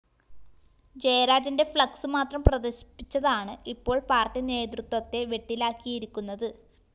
ജയരാജന്റെ ഫ്ലക്സ്‌ മാത്രം പ്രദര്‍ശിപ്പിച്ചതാണ് ഇപ്പോള്‍ പാര്‍ട്ടി നേതൃത്വത്തെ വെട്ടിലാക്കിയിരിക്കുന്നത്